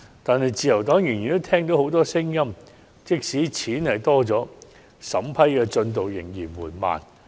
可是，自由黨依然聽到許多聲音，指出雖然增加了資金，但審批進度卻仍然緩慢。